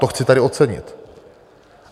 To chci tady ocenit.